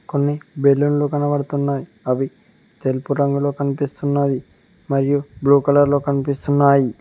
కొన్ని బెలూన్లు కనబడుతున్నాయి అవి తెలుపు రంగులో కనిపిస్తున్నది మరియు బ్లూ కలర్ లో కనిపిస్తున్నాయి.